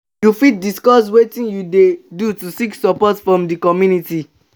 you fit discuss wetin you dey do to seek support from di community?